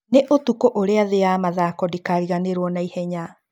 Nĩ ũtukũ ũria thĩĩ ya mathako ndikariganĩrwo na ihenya.